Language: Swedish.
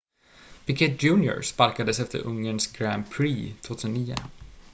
piquet jr sparkades efter ungerns grand prix 2009